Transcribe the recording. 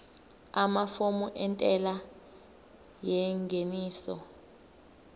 amafomu entela yengeniso